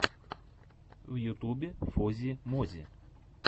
в ютьюбе фози мози